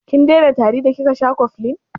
Kin daina tari da kika sha cofflin?